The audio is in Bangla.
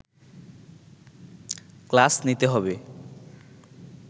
ক্লাস নিতে হবে